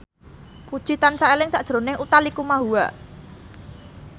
Puji tansah eling sakjroning Utha Likumahua